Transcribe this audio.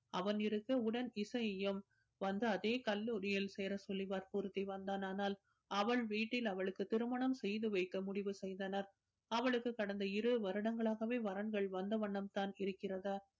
அவன் இருக்க உடன் இசையையும் வந்து அதே கல்லூரியில் சேர சொல்லி வற்புறுத்தி வந்தான் ஆனால் அவள் வீட்டில் அவளுக்கு திருமணம் செய்து வைக்க முடிவு செய்தனர் அவளுக்கு கடந்த இரு வருடங்களாகவே வரன்கள் வந்த வண்ணம் தான் இருக்கிறது